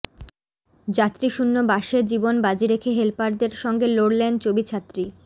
যাত্রীশূন্য বাসে জীবন বাজি রেখে হেলপারদের সঙ্গে লড়লেন চবি ছাত্রী